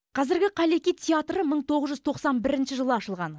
қазіргі қаллеки театры мың тоғыз жүз тоқсан бірінші жылы ашылған